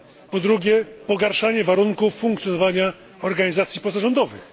Po drugie, pogarszanie warunków funkcjonowania organizacji pozarządowych.